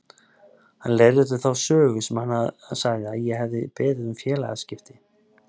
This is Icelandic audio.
Hann leiðrétti þá sögu sem hann sagði að ég hefði beðið um félagaskipti.